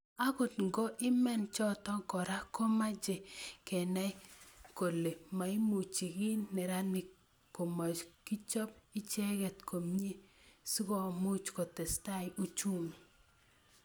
Agot ngo iman choto Kora komachei Kenai kole moimuchi kiy neranik komokichop icheget komie sikomuch kotesetai uchumi